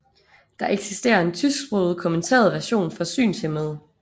Der eksisterer en tysksproget kommenteret version for synshæmmede